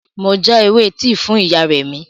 Mo já ewé tíì fún ìyá Remi